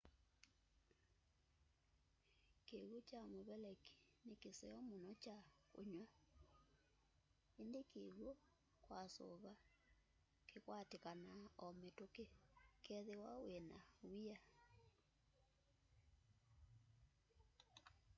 kiw'ũ kyamuveleki ni kiseo muno kya kunywa indi kiwũ kwa suva kikwatikanaa o mituki kethiwa wina w'ia